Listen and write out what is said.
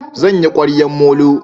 Zan yi ƙwaryan molo